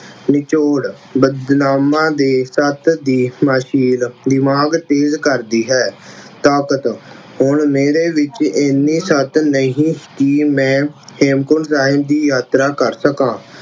ਨਿਚੋੜ, ਬਦਾਮਾਂ ਦੇ ਸਤ ਦੀ ਮਾਲਿਸ਼ ਦਿਮਾਗ ਤੇਜ਼ ਕਰਦੀ ਹੈ। ਤਾਕਤ, ਹੁਣ ਮੇਰੇ ਵਿੱਚ ਐਨੇ ਸਤ ਨਹੀਂ ਕਿ ਮੈਂ ਹੇਮਕੁੰਟ ਸਾਹਿਬ ਦੀ ਯਾਤਰਾ ਕਰ ਸਕਾਂ।